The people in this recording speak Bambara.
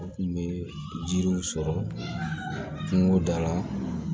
U kun bɛ jiriw sɔrɔ kungo da la